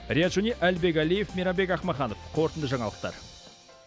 риат шони әлібек әлиев мейрамбек ақмаханов қорытынды жаңалықтар